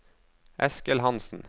Eskil Hansen